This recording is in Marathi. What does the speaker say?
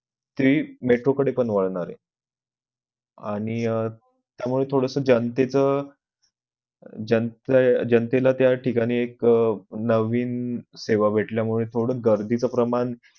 ते metro कडे पण वाळणर आहे आणि त्यामुळे थोडस जनतेचं जन~ जनतेला त्या ठिकाणी एक अह नवीन सेवा भेटल्यामुले थोडं गर्दीच प्रमाण